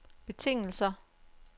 betingelser